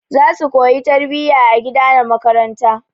Za su koya tarbiyya a gida da makaranta.